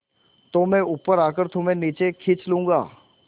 तो मैं ऊपर आकर तुम्हें नीचे खींच लूँगा